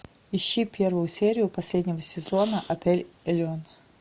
ищи первую серию последнего сезона отель элеон